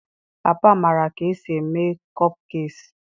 Papa maara ka esi eme kopkekiis.